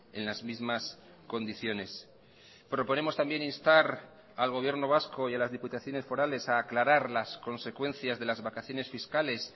en las mismas condiciones proponemos también instar al gobierno vasco y a las diputaciones forales a aclarar las consecuencias de las vacaciones fiscales